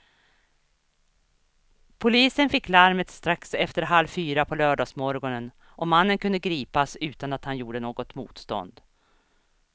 Polisen fick larmet strax efter halv fyra på lördagsmorgonen och mannen kunde gripas utan att han gjorde något motstånd.